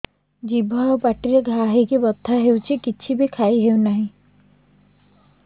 ଜିଭ ଆଉ ପାଟିରେ ଘା ହେଇକି ବଥା ହେଉଛି କିଛି ବି ଖାଇହଉନି